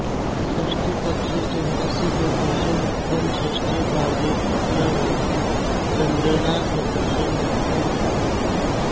षष्ठीपक्षे चन्द्रस्य सदृशं मुखम् षष्ठयभावे तृतीया भवति चन्द्रेणा सदृशं मुखम् इति